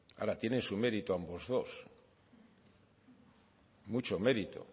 ahora tiene su mérito ambos dos mucho mérito